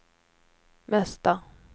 mesta